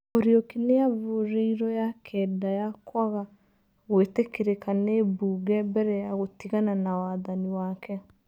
Muriuki nĩ avurĩiro ya kenda ya kwaga gwĩtĩkĩrĩka nĩ mbunge mbere ya gũtigana na wathani wake.